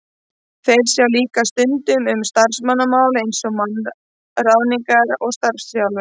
Þeir sjá líka stundum um starfsmannamál eins og mannaráðningar og starfsþjálfun.